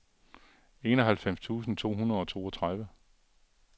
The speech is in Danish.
enoghalvfems tusind to hundrede og toogtredive